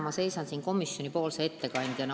Täna ma seisan siin komisjoni ettekandjana.